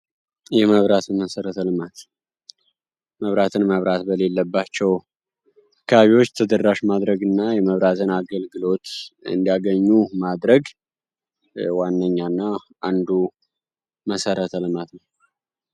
የመብራትን መሰረ ተልማት መብራትን መብራት በሌለባቸው አካባቢዎች ተደራሽ ማድረግ እና የመብራትን አገልግሎት እንዲያገኙ ማድረግ ዋነኛ እና አንዱ መሠረ ተልማት ነው።